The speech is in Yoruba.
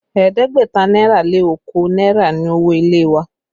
Ẹ̀ẹ́dẹ́gbẹ̀ta náírà lé okòó náírà ni owó ilé wa